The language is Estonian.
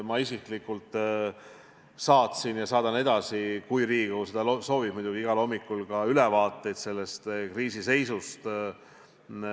Ma isiklikult saatsin ja saadan edasi – kui Riigikogu seda soovib muidugi – igal hommikul ülevaateid kriisi seisust.